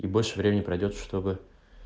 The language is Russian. и больше времени пройдёт чтобы